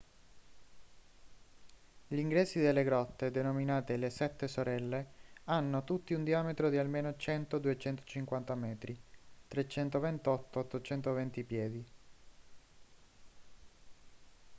gli ingressi delle grotte denominate le sette sorelle hanno tutti un diametro di almeno 100-250 metri 328-820 piedi